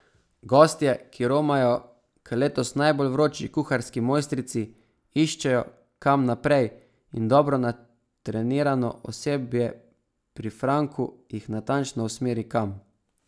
Gostje, ki romajo k letos najbolj vroči kuharski mojstrici, iščejo, kam naprej, in dobro natrenirano osebje pri Franku jih natančno usmeri, kam.